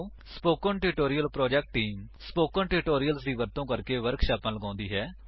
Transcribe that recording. spoken tutorials ਦੀ ਵਰਤੋ ਕਰਕੇ ਵਰਕਸ਼ਾਪਾਂ ਲਗਾਉਂਦੀ ਹੈ